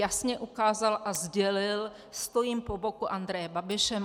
Jasně ukázal a sdělil: stojím po boku Andreje Babiše.